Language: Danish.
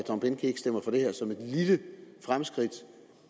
tom behnke ikke stemmer for det her som et lille fremskridt